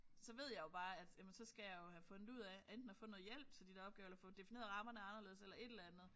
Så ved jeg jo bare at jamen så skal jeg jo have fundet ud af enten af få noget hjælp til de der opgaver eller få defineret rammerne anderledes eller et eller andet